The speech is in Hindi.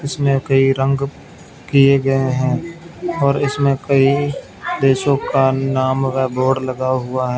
इसमें कई रंग किए गए हैं और इसमें कई देशों का नाम का बोर्ड लगा हुआ--